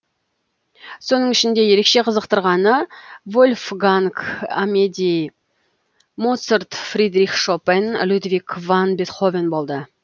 соның ішінде ерекше қызықтырғаны вольфганг амедей моцарт фридрих шопен людвиг ван бетховен болды